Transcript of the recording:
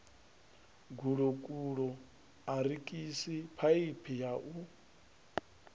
gulokulo arikisi phaiphi ya u